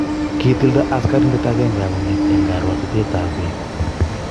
Kitilda askarindet agenge akonget eng koruotitoetab bet